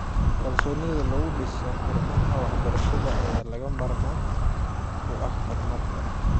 Kalsoonida lagu dhiso xarumaha waxbarashada ayaa lagama maarmaan u ah horumarka.